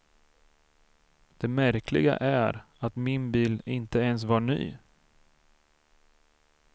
Det märkliga är att min bil inte ens var ny.